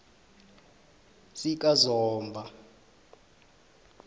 sikazomba